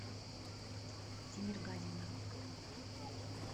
тимергазина